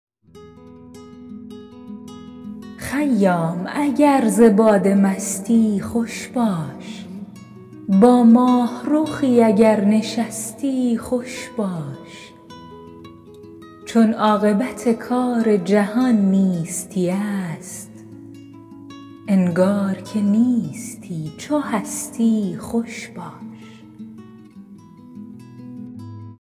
خیام اگر ز باده مستی خوش باش با ماهرخی اگر نشستی خوش باش چون عاقبت کار جهان نیستی است انگار که نیستی چو هستی خوش باش